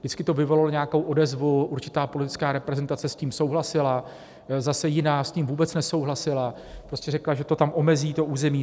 Vždycky to vyvolalo nějakou odezvu, určitá politická reprezentace s tím souhlasila, zase jiná s tím vůbec nesouhlasila, prostě řekla, že to tam omezí to území.